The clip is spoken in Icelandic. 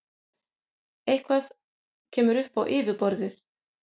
Eitthvað kemur upp á yfirborðið